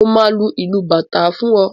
Mo máa lu ìlù bàtá fún ọ.